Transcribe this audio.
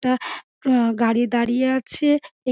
টা আ গাড়ি দাঁড়িয়ে আছে এক--